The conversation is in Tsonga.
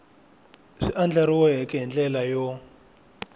swi andlariweke hi ndlela yo